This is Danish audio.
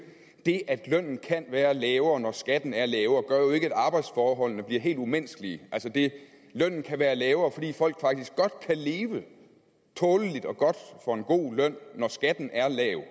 det at lønnen kan være lavere når skatten er lavere gør jo ikke at arbejdsforholdene bliver helt umenneskelige altså lønnen kan være lavere fordi folk faktisk godt kan leve tåleligt og godt på en god løn når skatten er lav